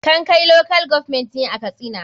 kankai local government ne a katsina.